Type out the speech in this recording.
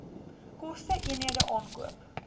koste eenhede aankoop